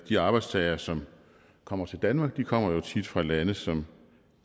de arbejdstagere som kommer til danmark kommer jo tit fra lande som